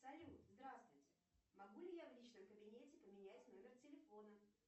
салют здравствуйте могу ли я в личном кабинете поменять номер телефона